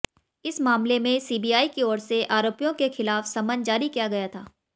इस मामले में सीबीआई की ओर से आरोपियों के खिलाफ समन जारी किया गया था